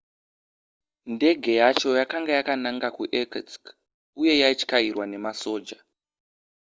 ndege yacho yakanga yakananga kuirkutsk uye yaityairwa nemasoja